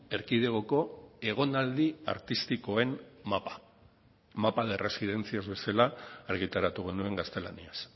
erkidegoko egonaldi artistikoen mapa mapa de residencias bezala argitaratu genuen gaztelaniaz